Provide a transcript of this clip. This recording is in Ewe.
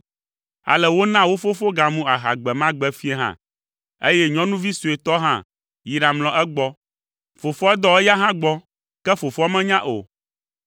Ale wona wo fofo gamu aha gbe ma gbe fiẽ hã, eye nyɔnuvi suetɔ hã yi ɖamlɔ egbɔ. Fofoa dɔ eya hã gbɔ, ke fofoa menya o.